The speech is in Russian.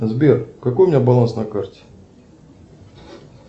сбер какой у меня баланс на карте